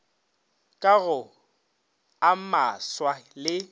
ka go a maswa le